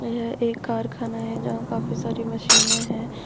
यह एक कारखाना है यहां काफी सारी मशीने हैं।